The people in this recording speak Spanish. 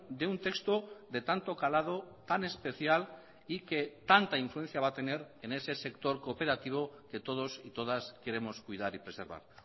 de un texto de tanto calado tan especial y que tanta influencia va a tener en ese sector cooperativo que todos y todas queremos cuidar y preservar